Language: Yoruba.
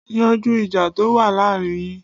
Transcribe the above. Yanjú ìjà to wá láàárín yín.